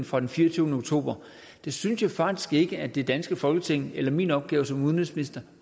fra den fireogtyvende oktober synes jeg faktisk ikke er det danske folketings i eller min opgave som udenrigsminister